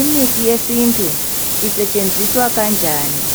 imithi yesintu isetshenziswa kanjani